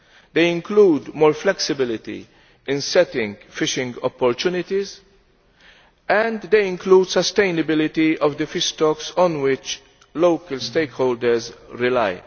They include more flexibility in setting fishing opportunities, and they include sustainability of the fish stocks on which local stakeholders rely.